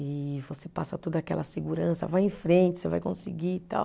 E você passa toda aquela segurança, vai em frente, você vai conseguir e tal.